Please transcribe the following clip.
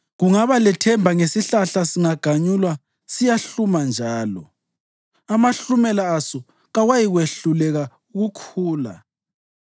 Kungaba lethemba ngesihlahla; singaganyulwa siyahluma njalo, amahlumela aso kawayikwehluleka ukukhula.